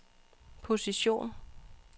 position